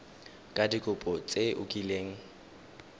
ka dikopo tse o kileng